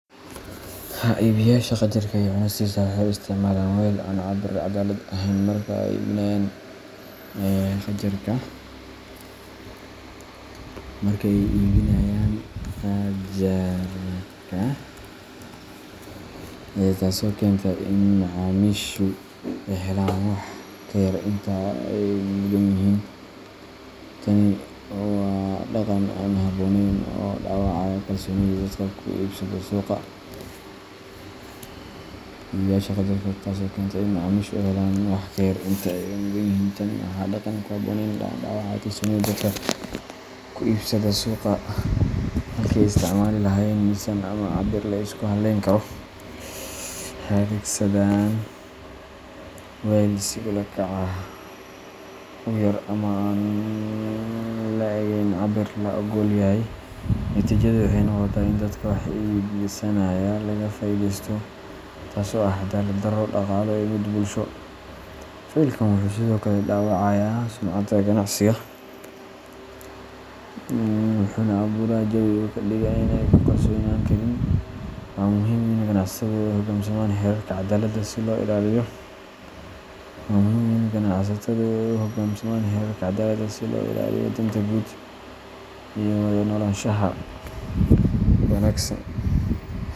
Iibiyeyaasha qajaarka iyo cunistisa waxay u isticmaalaan weel aan cabir caddaalad ahayn marka ay iibinayaan gajaarka, taasoo keenta in macaamiishu ay helaan wax ka yar inta ay mudan yihiin. Tani waa dhaqan aan habboonayn oo dhaawacaya kalsoonida dadka ku iibsada suuqa. Halkii ay isticmaali lahaayeen miisaan ama cabir la isku halleyn karo, waxay adeegsadaan weel si ula kac ah u yar ama aan le'egayn cabirka la oggol yahay. Natiijadu waxay noqotaa in dadka wax iibsanaya laga faa’iidaysto, taasoo ah caddaalad-darro dhaqaale iyo mid bulsho. Ficilkan wuxuu sidoo kale dhaawacayaa sumcadda ganacsiga, wuxuuna abuuraa jawi suuqa ka dhiga mid aan lagu kalsoonaan karin. Waa muhiim in ganacsatadu u hoggaansamaan xeerarka caddaaladda si loo ilaaliyo danta guud iyo wada noolaanshaha wanagsan.